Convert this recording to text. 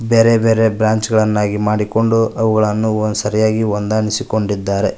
ಬೇರೆ ಬೇರೆ ಬ್ರಾಂಚ್ ಗಳನ್ನಾಗಿ ಮಾಡಿಕೊಂಡು ಅವುಗಳನ್ನು ಸರಿಯಾಗಿ ಹೊಂದಾಣಿಸಿಕೊಂಡಿದ್ದಾರೆ.